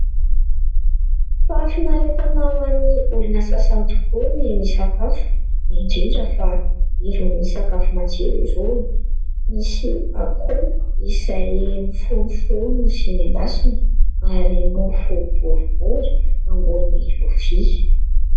Fahafinaretana ho an'ny olona sasany tokoa ny misakafo indrindra fa irony sakafo matsiro irony ; misy akoho izay mifonofono sy nendasina ary mofo boribory eo ambony lovia.